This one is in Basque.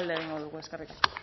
alde egingo dugu eskerrik asko